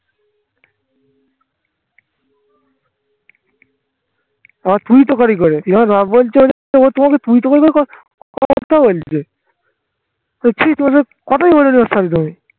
আবার তুই তোকারি করে তোমাকে তুই তারি করে কথা বলছে